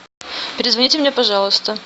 перезвоните мне пожалуйста